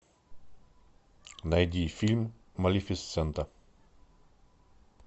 найди фильм малефисента